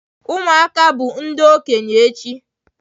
Ụmụaka bụ ndị okenye echi.